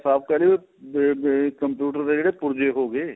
ਸਭ ਕਹਿਣੇ ਹਾਂ computer ਦੇ ਜਿਹੜੇ ਪੁਰਜੇ ਹੋ ਗਏ